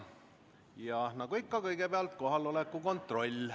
Ja nagu ikka, kõigepealt kohaloleku kontroll.